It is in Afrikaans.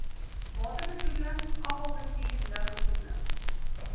waterbesoedeling afvalbestuur lugbesoedeling